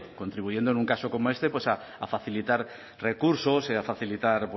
contribuyendo en un caso como este a facilitar recursos a facilitar